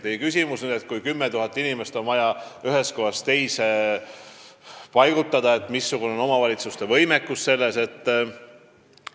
Te küsisite, et kui 10 000 inimest on vaja ühest kohast teise paigutada, siis missugune on omavalitsuste võimekus seda teha.